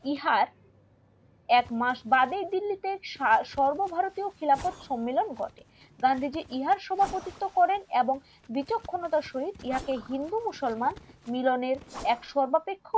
ইহার এক মাস বাদে দিল্লি তে সর্ব ভারতীয় খিলাফত সম্মেলন ঘটে গান্ধীজি ইহার সভাপতিত্ব করেন এবং বিচক্ষণতার সহিত ইহাকে হিন্দু মুসলমানের মিলনের এক সর্বাপেক্ষ